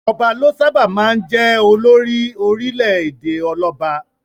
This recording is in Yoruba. Ọba ló sábà máa jẹ olórí orílẹ̀-èdè ọlọ́ba.